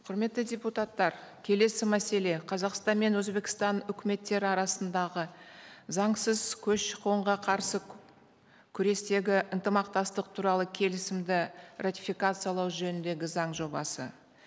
құрметті депутаттар келесі мәселе қазақстан мен өзбекстан үкіметтері арасындағы заңсыз көші қонға қарсы күрестегі ынтымақтастық туралы келісімді ратификациялау жөніндегі заң жобасы